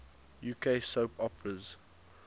uk soap operas